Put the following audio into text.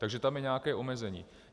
Takže tam je nějaké omezení.